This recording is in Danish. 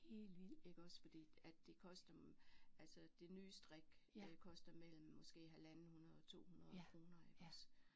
Iggås fordi at det koster altså det nye strik koster mellem måske halvanden 100 og 200 kroner iggås